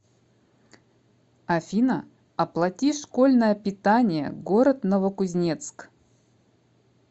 афина оплати школьное питание город новокузнецк